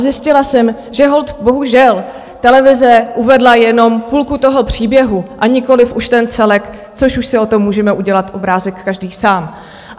Zjistila jsem, že holt bohužel televize uvedla jenom půlku toho příběhu a nikoliv už ten celek, což už si o tom můžeme udělat obrázek každý sám.